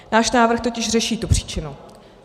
Náš návrh totiž řeší tu příčinu.